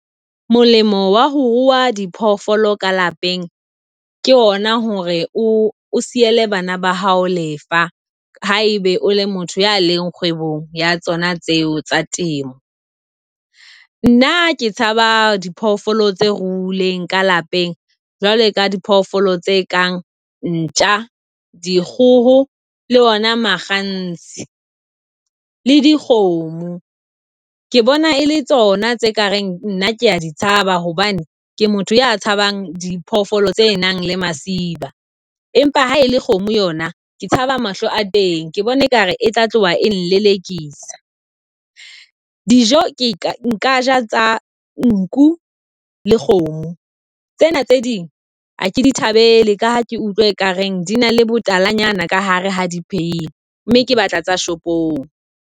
Molemo wa ho rua diphoofolo ka lapeng ke hona hore o siele bana ba hao lefa haebe o le motho ya leng kgwebong ya tsona tseo tsa temo. Nna ke tshaba diphoofolo tse ruileng ka lapeng jwale ka di phoofolo tse kang ntja, dikgoho le ona makganse le dikgomo. Ke bona e le tsona tse kareng nna kea di tshaba, hobane ke motho ya tshabang diphoofolo tse nang le masiba. Empa ha e le kgomo yona, ke tshaba mahlo a teng, ke bona ekare e tla tloha e nkelekisa. Dijo ke nka ja tsa nku le kgomo. Tsena tse ding ha ke di thabele ka ha ke utlwa e kareng di na le botalanyana ka hare ha di pheilwe, mme ke batla tsa shopong.